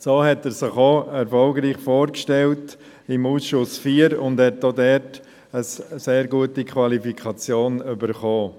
So hat er sich auch im Ausschuss IV erfolgreich vorgestellt und hat auch dort eine sehr gute Qualifikation erhalten.